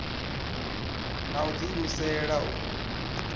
na u ḓi imisela u